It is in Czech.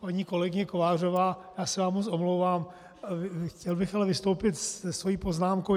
Paní kolegyně Kovářová, já se vám moc omlouvám, chtěl bych ale vystoupit se svou poznámkou.